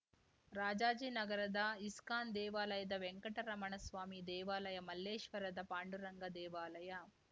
ರಾಜಾಜಿನಗರದ ಇಸ್ಕಾನ್‌ ದೇವಾಲಯದ ವೆಂಕಟರಮಣಸ್ವಾಮಿ ದೇವಾಲಯ ಮಲ್ಲೇಶ್ವರದ ಪಾಂಡುರಂಗ ದೇವಾಲಯ